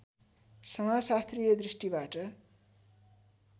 समाजशास्त्रीय दृष्टिबाट